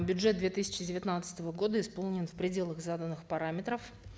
бюджет две тысячи девятнадцатого года исполнен в пределах заданных параметров